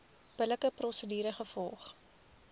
billike prosedure gevolg